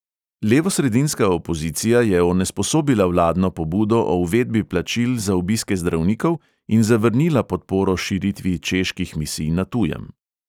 Levosredinska opozicija je onesposobila vladno pobudo o uvedbi plačil za obiske zdravnikov in zavrnila podporo širitvi čeških misij na tujem.